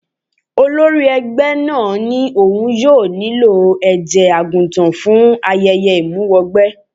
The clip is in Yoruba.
Olórí ẹgbẹ́ náà ní òun yóò nílò ẹ̀jẹ̀ àgùntàn fún ayẹyẹ ìmúwẹgbẹ́.